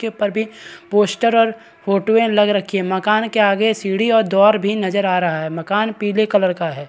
उसके ऊपर भी पोस्टर और फोटो वें लग रखी है मकान के आगे सीढ़ी और दौर भी नज़र आ रहा है मकान पीले कलर का है।